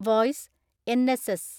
(voice) N S S